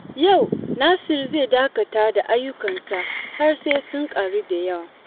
Yau Nasir zai dakata da ayyukansa har sai sun taru da yawa.